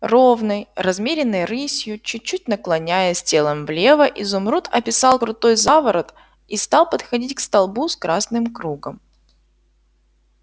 ровной размеренной рысью чуть-чуть наклоняясь телом влево изумруд описал крутой заворот и стал подходить к столбу с красным кругом